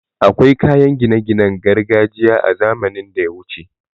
Akwai kayan gine ginen gargajiya a zamanin daya wuce